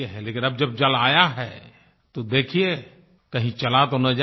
लेकिन अब जब जल आया है तो देखिये कहीं चला तो न जाये